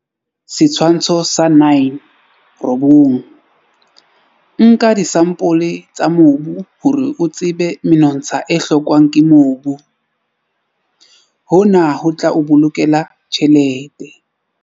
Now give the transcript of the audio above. Setshwantsho sa 9. Nka disampole tsa mobu hore o tsebe menontsha e hlokwang ke mobu. Hona ho tla o bolokela tjhelete.